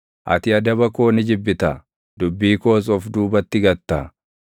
Ati adaba koo ni jibbita; dubbii koos of duubatti gatta.